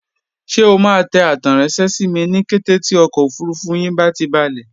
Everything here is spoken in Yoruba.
Ṣé o máa tẹ àtẹranṣẹ sími ní kété tí ọkọ̀ òfurufú yín bá ti balẹ̀?